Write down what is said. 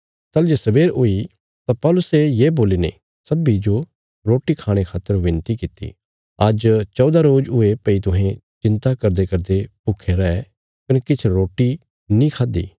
ताहली जे सवेर हुई तां पौलुसे ये बोलीने सब्बीं जो रोटी खाणे खातर विनती कित्ती आज्ज चौदा रोज हुये भई तुहें चिन्ता करदेकरदे भूखे रै कने किछ रोटी नीं खाद्दि